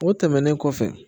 O tɛmɛnen kɔfɛ